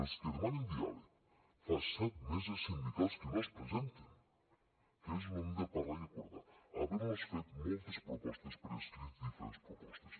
els que demanen diàleg fa set meses sindicals que no es presenten que és on hem de parlar i acordar havent los fet moltes propostes per escrit i diferents propostes